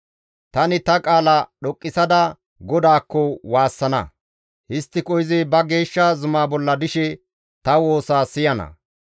Tani ta qaala dhoqqisada GODAAKKO waassana; histtiko izi ba geeshsha zuma bolla dishe ta woosa siyana.